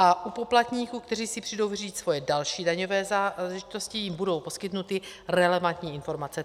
A u poplatníků, kteří si přijdou vyřídit svoje další daňové záležitosti, jim budou poskytnuty relevantní informace.